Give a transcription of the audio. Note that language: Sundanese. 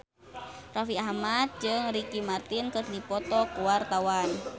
Raffi Ahmad jeung Ricky Martin keur dipoto ku wartawan